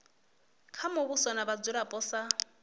kha muvhuso na vhadzulapo sa